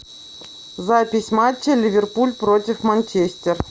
запись матча ливерпуль против манчестер